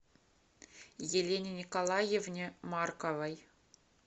елене николаевне марковой